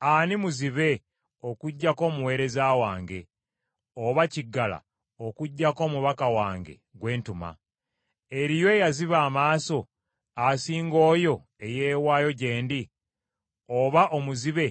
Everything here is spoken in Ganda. Ani muzibe okuggyako omuweereza wange, oba kiggala okuggyako omubaka wange gwe ntuma? Eriyo eyaziba amaaso asinga oyo eyeewaayo gye ndi, oba omuzibe